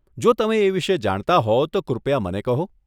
જો તમે એ વિષે જાણતા હો, તો કૃપયા મને કહો.